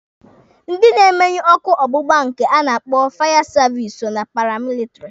Ndị na-emenyụ ọkụ ọgbụgba nke a na-akpọ fire service so na paramilitiri.